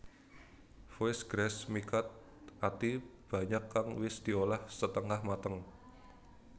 Foie gras mi cut Ati banyak kang wis diolah setengah mateng